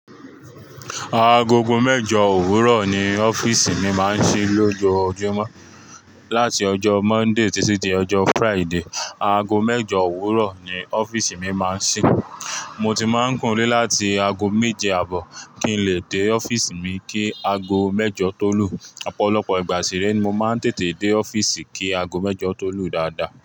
Agogo mẹ́jọ òwúrọ̀ ni ọ́fíìsì mi máa ń ṣí lójoojúmọ́. Láti ọjọ́ Monday títí dé ọjọ́ Friday, ago mẹ́jọ òwúrọ̀ ni ọ́fíìsì mi máa ń ṣí. Mo ti máa ń kúro ni ilé láti ago méje àbọ̀ kí n lè dé ọ́fíìsì mi kí ago mẹ́jọ tó lù. Ọ̀pọ̀lọpọ̀ ìgbà sì rẹ ni mo máa ń tètè dé ọ́fíìsì kí ago mẹ́jọ tó lù dáadáa.